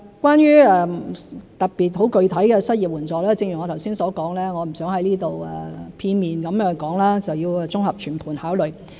關於特別、具體的失業援助，正如我剛才所說，我不想再在這裏片面地說，而要綜合全盤考慮。